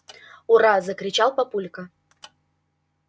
ура закричал папулька